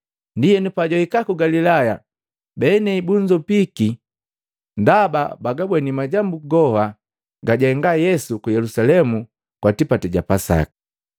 Ndienu pajwahika ku Galilaya benei bunzopiki, ndaba bagabweni majambu goha gajahenga Yesu ku Yelusalemu kwa tipati ja Pasaka.